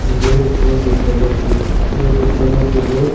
ibey ikko buddo murti sey buddo murtibot.